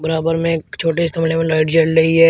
बराबर में एक छोटे से गमले में लाइट जल रही है।